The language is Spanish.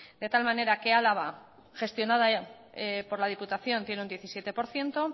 de tal manera que álava gestionada por la diputación tiene un diecisiete por ciento